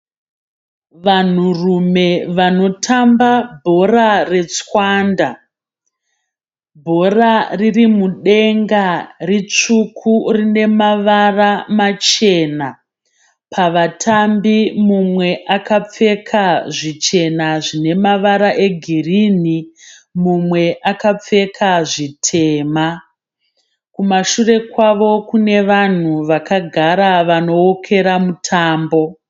Vanhurume vanotamba bhora retsvanda bhora riri mudenga ritsvuku rine mavara machena, pavatambi mumwe akapfeka zvichena zvine mavara egirini mumwe zvitema , kumashure kwavo kune vanhu vakagara vanookera mutambo.